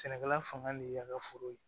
Sɛnɛkɛla fangan de y'an ka foro ye